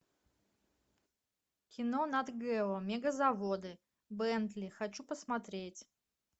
кино нат гео мегазаводы бентли хочу посмотреть